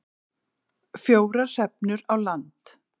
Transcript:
Fjórar hrefnur á land